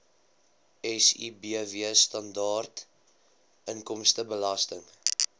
sibw standaard inkomstebelasting